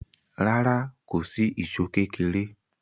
Rárá, kò sí ìṣó kékéré.